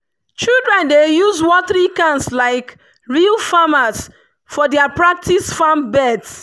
children dey use watering cans like real farmers for their practice farm beds.